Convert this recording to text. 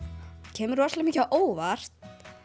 kemur rosalega mikið á óvart